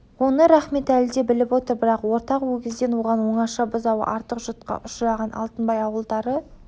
оны рахметәлі де біліп отыр бірақ ортақ өгізден оған оңаша бұзауы артық жұтқа ұшыраған алтынбай ауылдары